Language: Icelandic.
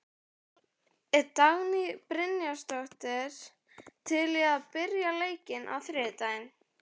Er Dagný Brynjarsdóttir til í að byrja leikinn á þriðjudag?